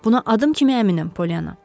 Buna adım kimi əminəm, Polyana.